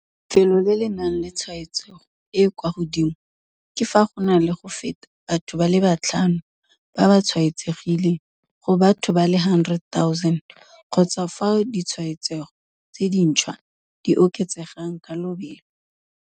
Lefelo le le nang le tshwaetsego e e kwa godimo ke fa go na le go feta batho ba le batlhano ba ba tshwaetsegileng go batho ba le 100 000 kgotsa fao ditshwaetsego tse dintšhwa di oketsegang ka lobelo.